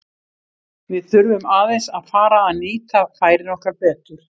Við þurfum aðeins að fara að nýta færin okkar betur.